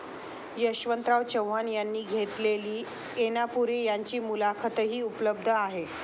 यशवंतराव चव्हाण यांनी घेतलेली ऐनापुरे यांची मुलाखतही उपलब्ध आहे.